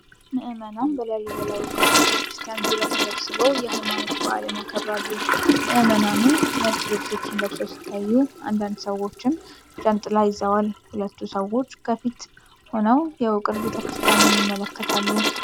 ምእመናን በላሊበላ ውቅር ቤተ ክርስቲያን ዙሪያ ተሰብስበው የሃይማኖት በዓልን ያከብራሉ። ምእመናኑ ነጭ ልብሶችን ለብሰው ሲታዩ፣ አንዳንድ ሰዎችም ጃንጥላ ይዘዋል። ሁለት ሰዎች ከፊት ሆነው የውቅር ቤተ ክርስቲያኑን ይመለከታሉ።